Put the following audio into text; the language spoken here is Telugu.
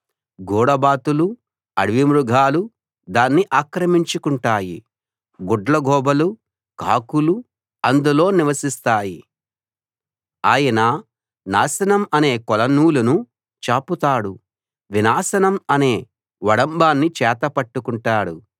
గూడబాతులు అడవి మృగాలు దాన్ని ఆక్రమించుకుంటాయి గుడ్లగూబలు కాకులు అందులో నివసిస్తాయి ఆయన నాశనం అనే కొలనూలును చాపుతాడు వినాశనం అనే ఒడంబాన్ని చేత పట్టుకుంటాడు